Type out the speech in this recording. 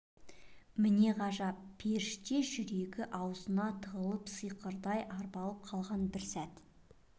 міне ғажап періште жүрегі аузына тығылып сиқырдай арбалып қалған бір сәт